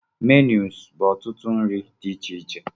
Menus bu ọtụtụ nri di ichiche.